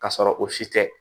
Ka sɔrɔ o si tɛ